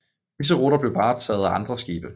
Disse ruter blev varetaget af andre skibe